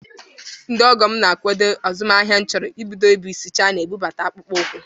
Ndị ọgọ m ga-akwado azụmaahịa m chọrọ ibido bụ isi Chaina bụbata akpụkpọ ụkwụ